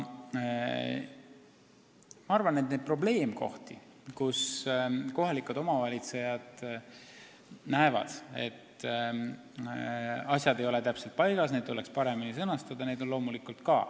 Ma arvan, et neid probleemkohti, kus kohalikud omavalitsejad näevad, et asjad ei ole täpselt paigas, on loomulikult ka ja neid tuleks paremini sõnastada.